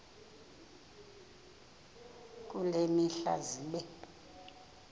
kule mihla zibe